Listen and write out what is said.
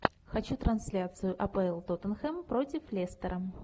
хочу трансляцию апл тоттенхэм против лестера